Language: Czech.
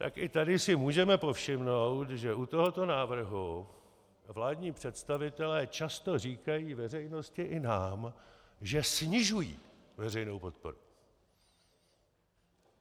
Tak i tady si můžeme povšimnout, že u tohoto návrhu vládní představitelé často říkají veřejnosti i nám, že snižují veřejnou podporu.